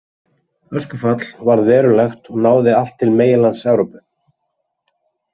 Öskufall varð verulegt og náði allt til meginlands Evrópu.